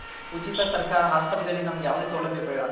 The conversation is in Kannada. ಉಚಿತ ಸರ್ಕಾರ ಹಾಸ್ಪತ್ರೆ ಅಲ್ ನಮ್ಗೆ ಯಾವದೇ ಸೌಲಭ್ಯ ಬೇಡ.